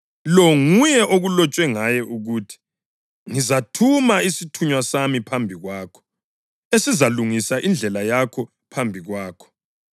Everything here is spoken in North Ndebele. Lo nguye okulotshwe ngaye ukuthi: ‘Ngizathuma isithunywa sami phambi kwakho, esizalungisa indlela yakho phambi kwakho.’ + 7.27 UMalaki 3.1